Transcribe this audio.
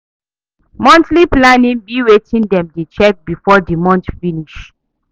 Monthly planning be wetin dem dey check before di month finish